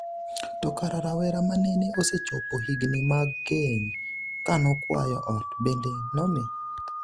to kara rawera manene osechopo higni mag keny kanokwayo ot bende nomi